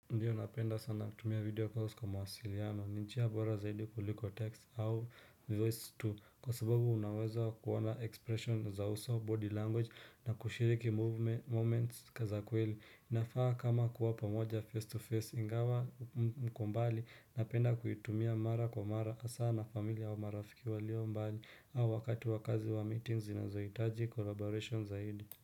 Ndiyo napenda sana kutumia video calls kwa mawasiliano, ni njia bora zaidi kuliko text au voice tu kwa sababu unaweza kuona expression za uso, body language na kushiriki moments za kweli inafaa kama kuwa pamoja face to face, ingawa mko mbali, napenda kuitumia mara kwa mara hasa na familia au marafiki walio mbali, au wakati wa kazi wa meetings zinazohitaji collaboration zaidi.